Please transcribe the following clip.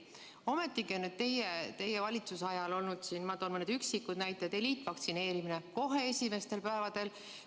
" Ometi on teie valitsuse ajal olnud, ma toon mõne üksiku näite, eliitvaktsineerimist kohe esimestel päevadel.